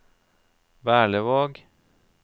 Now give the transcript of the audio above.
Berlevåg